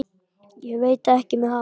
Ég veit ekki með hana.